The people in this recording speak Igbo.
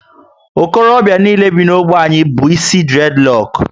Okorobịa niile bi na ogbe anyị bu isi dured roku